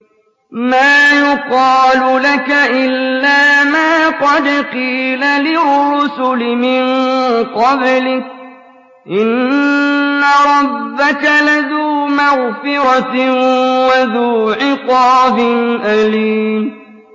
مَّا يُقَالُ لَكَ إِلَّا مَا قَدْ قِيلَ لِلرُّسُلِ مِن قَبْلِكَ ۚ إِنَّ رَبَّكَ لَذُو مَغْفِرَةٍ وَذُو عِقَابٍ أَلِيمٍ